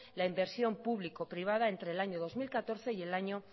la inversión público privada entre el año dos mil catorce y el año